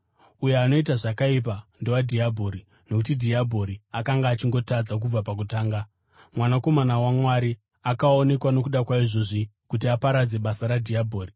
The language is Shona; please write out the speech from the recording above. Uyo anoita zvakaipa ndowadhiabhori, nokuti dhiabhori akanga achingotadza kubva pakutanga. Mwanakomana waMwari akaonekwa nokuda kwaizvozvi kuti aparadze basa radhiabhori.